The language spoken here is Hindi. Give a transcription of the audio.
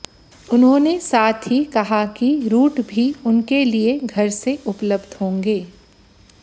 उन्होंने साथ ही कहा कि रूट भी उनके लिए घर से उपलब्ध होंगे